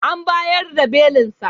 An bayar da belinsa.